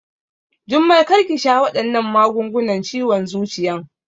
Jummai kar ki sha waɗannan magungunan ciwon zuciyan!